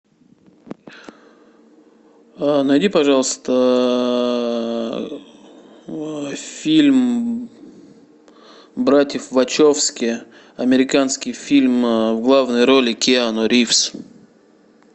найди пожалуйста фильм братьев вачовски американский фильм в главной роли киану ривз